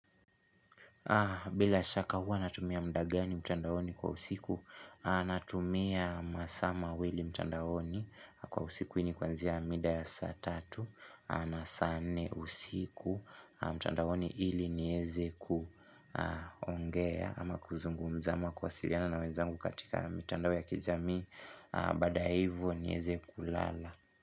Bila shaka hua natumia mdagani mtandaoni kwa usiku, natumia masaa mawili mtandaoni kwa usiku i nikuanzia mida ya saa tatu na saa nne usiku mtandaoni ili nieze kuongea ama kuzungumza ama kuwasiliana na wezangu katika mitandao ya kijami baada hivo nieze kulala.